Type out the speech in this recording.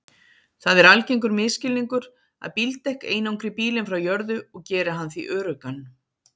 Það er algengur misskilningur að bíldekk einangri bílinn frá jörðu og geri hann því öruggan.